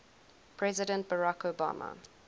president barack obama